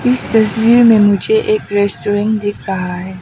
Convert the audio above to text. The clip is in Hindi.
इस तस्वीर में मुझे एक रेस्टोरेंट दिख रहा है।